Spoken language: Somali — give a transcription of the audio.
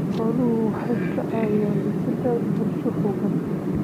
Xooluhu waxay ka caawiyaan dhisidda bulsho xooggan.